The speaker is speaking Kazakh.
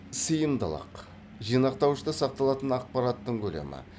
сыйымдылық жинақтауышта сақталатын ақпараттың көлемі